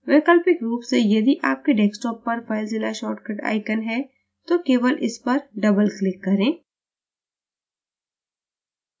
वैकल्पिक रूप से यदि आपके desktop पर filezilla shortcut icon है तो केवल इसपर doubleclick करें